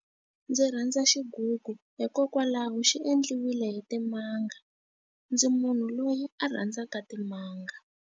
Ndzi rhandza xigugu hikokwalaho xi endliwile hi timanga. Ndzi munhu loyi a rhandzaka timanga.